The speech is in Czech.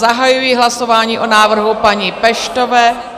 Zahajuji hlasování o návrhu paní Peštové...